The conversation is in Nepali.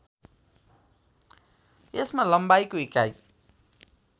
यसमा लम्बाइको इकाइ